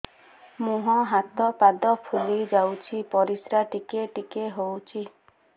ମୁହଁ ହାତ ପାଦ ଫୁଲି ଯାଉଛି ପରିସ୍ରା ଟିକେ ଟିକେ ହଉଛି